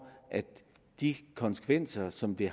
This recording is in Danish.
at de konsekvenser som det